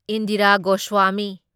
Indira Goswami